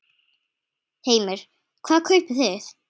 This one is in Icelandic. Heimir: Hvað kaupið þið?